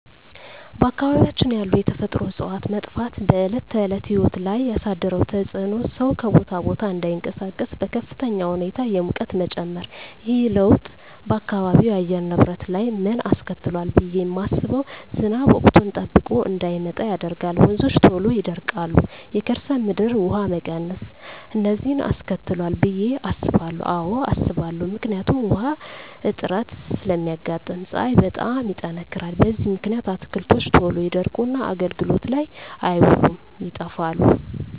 በአካባቢያችን ያሉ የተፈጥሮ እፅዋት መጥፋት በዕለት ተዕለት ሕይወት ላይ ያሣደረው ተፅኖ ሠው ከቦታ ቦታ እዳይንቀሣቀስ፤ በከፍተኛ ሁኔታ የሙቀት መጨመር። ይህ ለውጥ በአካባቢው የአየር ንብረት ላይ ምን አስከትሏል ብየ ማስበው። ዝናብ ወቅቱን ጠብቆ እዳይመጣ ያደርጋል፤ ወንዞች ቶሎ ይደርቃሉ፤ የከርሠ ምድር ውሀ መቀነስ፤ እነዚን አስከትሏል ብየ አስባለሁ። አዎ አስባለሁ። ምክንያቱም ውሀ እጥረት ስለሚያጋጥም፤ ፀሀይ በጣም ይጠነክራል። በዚህ ምክንያት አትክልቶች ቶሎ ይደርቁና አገልግሎት ላይ አይውሉም ይጠፋሉ።